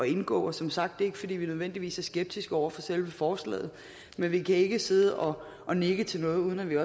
indgå som sagt er det ikke fordi vi nødvendigvis er skeptiske over for selve forslaget men vi kan ikke sidde og og nikke til noget uden at vi